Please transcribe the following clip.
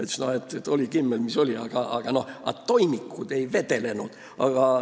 Ta ütles veel, et oli Kimmel, mis ta oli, aga toimikud ei vedelenud.